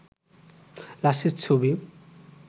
লাশের ছবি